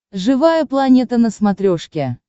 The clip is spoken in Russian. живая планета на смотрешке